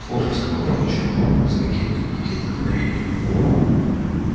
слушай сказал пугачёв с каким-то диким вдохновением